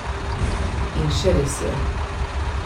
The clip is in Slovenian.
In še res je!